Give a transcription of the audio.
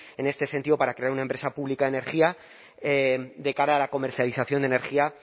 en este sentido para crear una empresa pública de energía de cara a la comercialización de energía